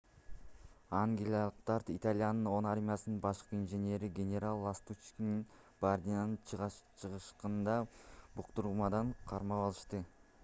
ангиялыктар италиянын 10-армиясынын башкы инженери генерал ластуччини бардианын чыгышындагы буктурмадан кармап алышты